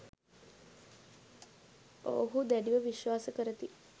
ඔවුහු දැඩිව විශ්වාස කරති